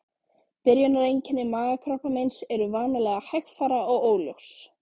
Byrjunareinkenni magakrabbameins eru vanalega hægfara og óljós.